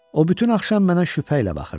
O bütün axşam mənə şübhə ilə baxırdı.